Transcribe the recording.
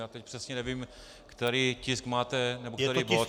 Já teď přesně nevím, který tisk máte nebo který bod.